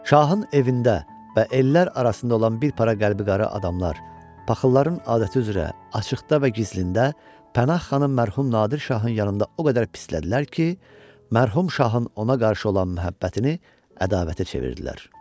Şahın evində və ellər arasında olan bir para qəlbi qara adamlar, paxılların adəti üzrə açıqda və gizlində Pənah xanı mərhum Nadir Şahın yanında o qədər pislədilər ki, mərhum şahın ona qarşı olan məhəbbətini ədavətə çevirdilər.